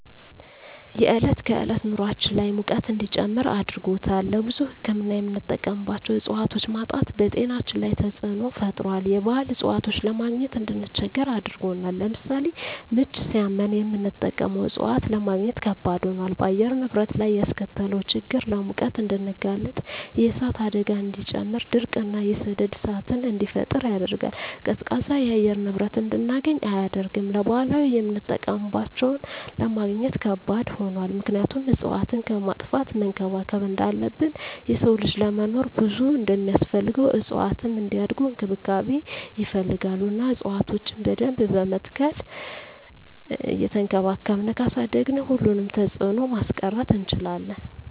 የዕለት ከዕለት ኑራችን ላይ ሙቀት እንዲጨምር አድርጎታል። ለብዙ ህክምና የምንጠቀማቸው እፅዋቶች ማጣት በጤናችን ላይ ተፅዕኖ ፈጥሯል የባህል እፅዋቶችን ለማግኘት እንድንቸገር አድርጎናል። ለምሳሌ ምች ሳመን የምንጠቀመው እፅዋት ለማግኘት ከበድ ሆኗል። በአየር ንብረት ላይ ያስከተለው ችግር ለሙቀት እንድንጋለጥ የእሳት አደጋን እንዲጨምር ድርቅ እና የሰደድ እሳትን እንዲፈጠር ያደርጋል። ቀዝቃዛ የአየር ንብረት እንድናገኝ አያደርግም። ለባህላዊ የምጠቀምባቸው ለማግኘት ከባድ ሆኗል ምክንያቱም እፅዋትን ከማጥፋት መንከባከብ እንዳለብን የሰው ልጅ ለመኖር ብዙ እንደማስፈልገው እፅዋትም እንዲያድጉ እንክብካቤ ይፈልጋሉ እና እፅዋቶችን በደንብ በመትከል እየቸንከባከብን ካሳደግን ሁሉንም ተፅዕኖ ማስቀረት እንችላለን።